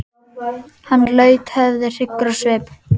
Hann laut höfði hryggur á svip.